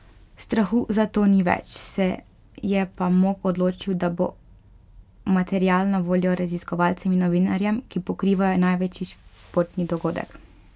Strahu za to ni več, se je pa Mok odločil, da bo material na voljo raziskovalcem in novinarjem, ki pokrivajo največji športni dogodek.